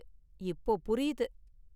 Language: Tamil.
இப்போ புரியுது.